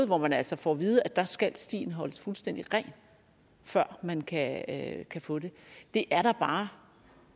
hvor man altså får at vide at der skal stien holdes fuldstændig ren før man kan kan få det det er da bare